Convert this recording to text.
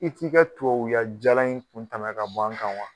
I t'i ka tuwawuya jala in kun tɛmɛ k'a bɔ an kan wa